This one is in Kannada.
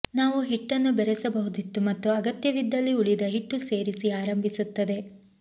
ನಾವು ಹಿಟ್ಟನ್ನು ಬೆರೆಸಬಹುದಿತ್ತು ಮತ್ತು ಅಗತ್ಯವಿದ್ದಲ್ಲಿ ಉಳಿದ ಹಿಟ್ಟು ಸೇರಿಸಿ ಆರಂಭಿಸುತ್ತದೆ